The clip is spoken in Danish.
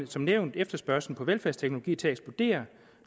som nævnt efterspørgslen på veldfærdsteknologi til at eksplodere